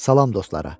Salam dostlara.